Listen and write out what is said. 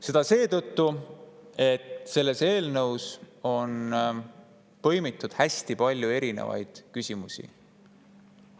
Seda seetõttu, et eelnõus on põimitud hästi palju erinevaid küsimusi.